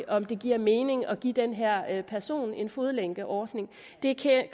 om det giver mening at give den her person en fodlænkeordning det